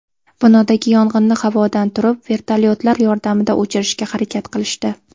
Binodagi yong‘inni havodan turib vertolyotlar yordamida o‘chirishga harakat qilishdi.